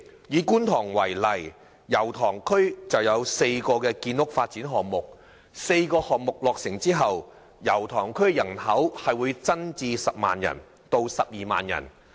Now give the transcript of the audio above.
以觀塘為例，油塘區有4個建屋發展項目，待項目落成後，區內人口將增至10萬人至12萬人。